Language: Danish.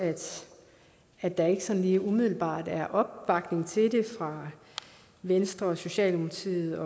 at der ikke sådan lige umiddelbart er opbakning til det fra venstre socialdemokratiet